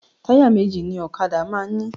Táyà méjì ni ọ̀kadà máa ń ní